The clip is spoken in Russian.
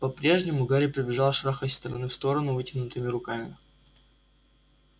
по-прежнему гарри побежал шарахаясь из стороны в сторону вытянутыми руками